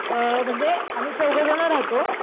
अ म्हणजे आम्ही चौघ जण राहतो,